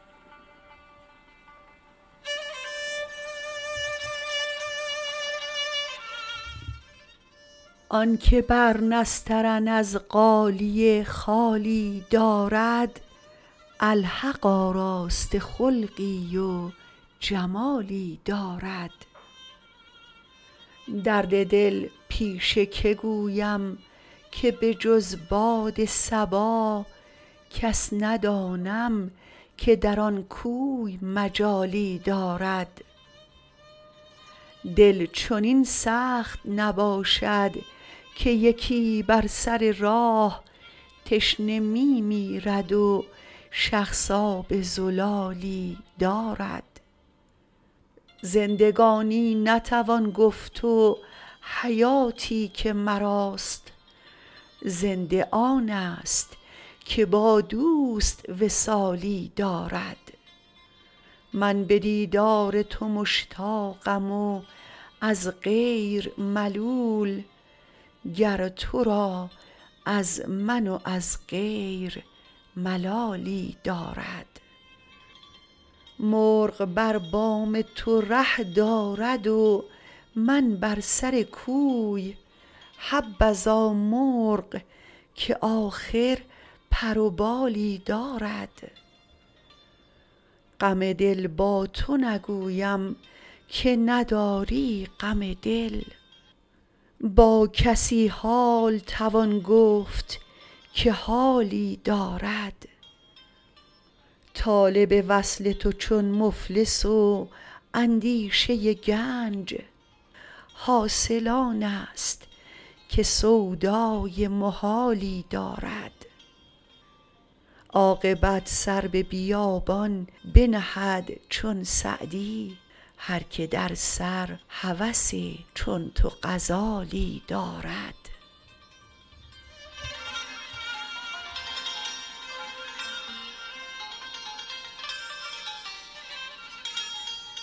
آن که بر نسترن از غالیه خالی دارد الحق آراسته خلقی و جمالی دارد درد دل پیش که گویم که به جز باد صبا کس ندانم که در آن کوی مجالی دارد دل چنین سخت نباشد که یکی بر سر راه تشنه می میرد و شخص آب زلالی دارد زندگانی نتوان گفت و حیاتی که مراست زنده آنست که با دوست وصالی دارد من به دیدار تو مشتاقم و از غیر ملول گر تو را از من و از غیر ملالی دارد مرغ بر بام تو ره دارد و من بر سر کوی حبذا مرغ که آخر پر و بالی دارد غم دل با تو نگویم که نداری غم دل با کسی حال توان گفت که حالی دارد طالب وصل تو چون مفلس و اندیشه گنج حاصل آنست که سودای محالی دارد عاقبت سر به بیابان بنهد چون سعدی هر که در سر هوس چون تو غزالی دارد